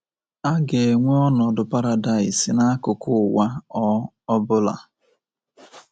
A ga-enwe ọnọdụ paradaịs n’akụkụ ụwa ọ ọ bụla.